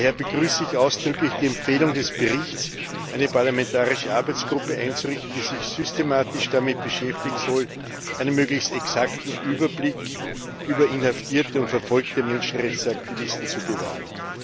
Daher begrüße ich ausdrücklich die Empfehlung des Berichts, eine parlamentarische Arbeitsgruppe einzurichten, die sich systematisch damit beschäftigen soll, einen möglichst exakten Überblick über inhaftierte und verfolgte Menschenrechtsaktivisten zu bewahren.